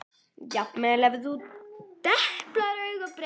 Jafnvel ef þú deplar auga breytist það.